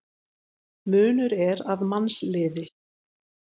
Munur er að mannsliði.